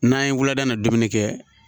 N'an ye wulada na dumuni kɛ